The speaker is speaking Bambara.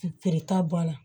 Feereta b'a la